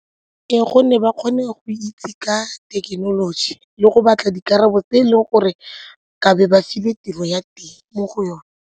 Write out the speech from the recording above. Ka gonne ba kgone go itse ka thekenoloji le go batla dikarabo tse e leng gore ke be ba filwe tiro ya teng mo go yone.